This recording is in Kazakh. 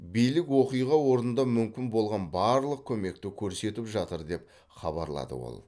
билік оқиға орнында мүмкін болған барлық көмекті көрсетіп жатыр деп хабарлады ол